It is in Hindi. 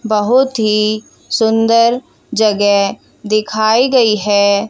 बहोत ही सुंदर जगह दिखाई गई है।